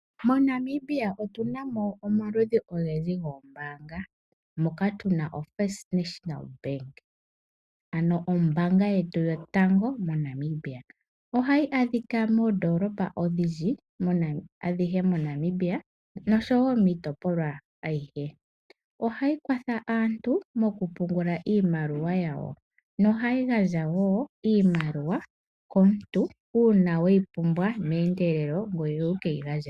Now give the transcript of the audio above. MoNamibia otuna mo omaludhi ogendji goombaanga mono tuna mo first national bank, ano ombaanga yetu yotango yopashigwana. Ohayi adhika moondoolopa adhihe moNamibia osho wo miitopolwa aihe. Ohayi kwathsa aantu okupungula iimaliwa yawo. Ohayi gandja wo iimaliwa komuntu uuna weyi pumbwa ngoye wu keyi gandje nale.